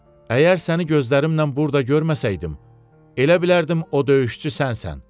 Əgər səni gözlərimlə burda görməsəydim, elə bilərdim o döyüşçü sənsən.